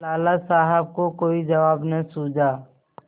लाला साहब को कोई जवाब न सूझा